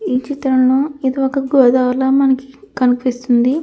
ఈ చిత్రంలో ఇది ఒక గోదావరి ల మనకి కనిపిస్తుంది.